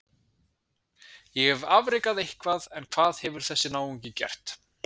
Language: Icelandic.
Ég hef afrekað eitthvað en hvað hefur þessi náungi gert?